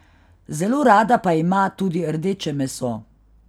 Zelo rada pa ima tudi rdeče meso.